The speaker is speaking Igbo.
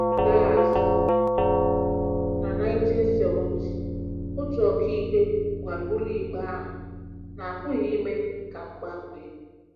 Laa azụ na 1970, otu ọkàikpe gwara ụlọikpe ahụ na a pụghị ime ka m gbanwee.